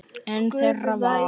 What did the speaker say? Einn þeirra var